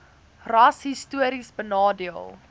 ras histories benadeel